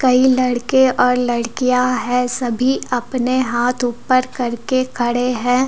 कई लड़के और लड़कियां हैं सभी अपने हाथ ऊपर करके खड़े हैं।